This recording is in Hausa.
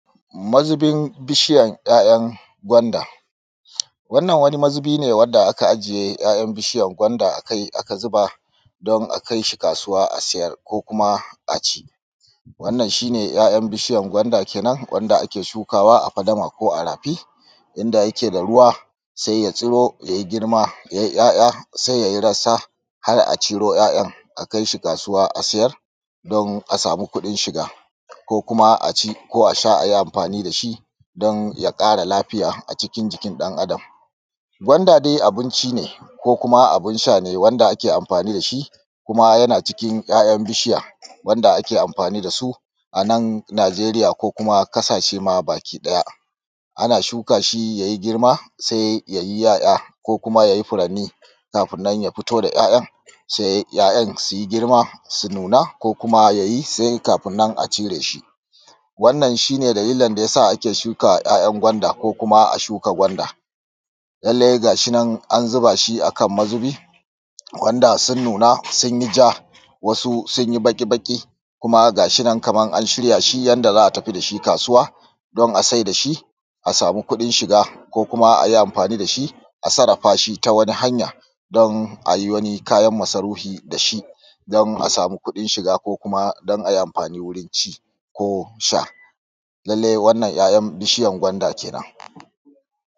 Mazubin bishiyan 'ya'yan gwanda. Wannan wani mazubi ne wanda aka ajiye 'ya'yan bishiyan gwanda akai aka zuba don a kai shi kaasuwa a siyar ko kuma a ci. Wannan shi ne 'ya'yan bishiyan gwanda kenan wanda ake shukaawa a fadama ko a rafi inda yake da ruwa sai ya tsiro yayi girma yayi 'ya'ya sai yayi rassa har a ciro 'ya'yan a kai shi kaasuwa a siyar don a samu kuɗin shiga ko kuma a ci ko a sha ko a yi amfaani da shi don ya ƙara lafiya acikin jikin ɗan-adam. gwanda dai abinci ne ko kuma abin sha ne wanda ake amfaani da shi kuma yana cikin 'ya'yan bishiya wanda ake amfaani da su anan najeeriya ko kuma ƙasashe maa baki ɗaya. Ana shuka shi yayi girma sai yayi 'ya'ya ko kuma sai yayi furanni kafin nan kuma ya fito da 'ya'ya, sai 'ya'yan su yi girma su nuna ko kuma yayi sai kafin nan acira shi. Wannan shi ne dalilin da ya sa aka shuka 'ya'yan gwanda ko kuma a shuka gwanda. Lallai ga shinan an zubaa shi akan mazubi, gwanda sun nuna sun yi ja wasu sun yi baƙi-baƙi kuma ga shinan kaman an shirya shi yanda za a tafi da shi kaasuwa don a saida shi a samu kuɗin shiga ko kuma a yi amfaani da shi a sarrafa shi ta wani hanya don a yi wani kayan masarufi da shi don a samu kuɗin shiga ko kuma don a yi amfaani wurin ci ko sha lallai wanna 'ya'yan bishiyan gwanda kenan